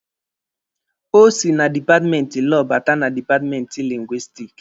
O sị na dipatmenti Lọọ bata na dipatmenti Lingwisitiki.